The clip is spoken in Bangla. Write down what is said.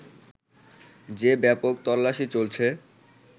যে ব্যাপক তল্লাশি চলছে